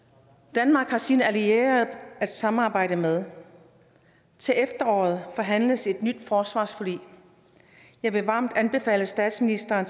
danmark har sine allierede at samarbejde med til efteråret forhandles et nyt forsvarsforlig jeg vil varmt anbefale statsministeren